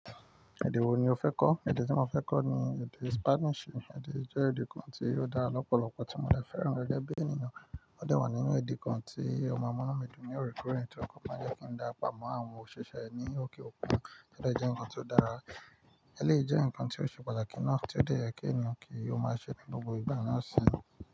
Èdè wo ni o fẹ́ kọ́? Èdè tí mo fẹ́ kọ́ ni èdè Spanish. Èdè ì je èdè kan tí ò dára lọ́pọ̀lọpọ̀ tí mo dè fẹ́ràn gege bí enìyan. Ó de wà nínú èdè kan tí o maa munu mi dùn ní òrekoore, tori n pe ò máa jẹ́ kí ń dá ra pamọ́ àwọn òṣìṣẹ́ ẹ ní òkè òkun. Ò dẹ́ je ǹkan tí ó dára? Ẹ lèyi jẹ́ ǹkan tí ó ṣe pàtàkì náà tí ó lè jẹ́ kí ẹnì kan yóò máa ṣe lójú igba náà sì ń.